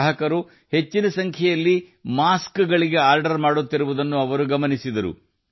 ಗ್ರಾಹಕರು ಹೆಚ್ಚಿನ ಸಂಖ್ಯೆಯಲ್ಲಿ ಮಾಸ್ಕ್ಗಳಿಗಾಗಿ ಆರ್ಡರ್ ಮಾಡುವುದನ್ನು ಅವರು ಗುರುತಿಸಿದರು